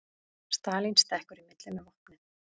Stalín stekkur í milli með vopnin